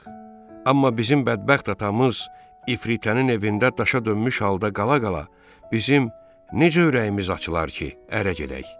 Amma bizim bədbəxt atamız İfritənin evində daşa dönmüş halda qala-qala, bizim necə ürəyimiz açılar ki, ərə gedək?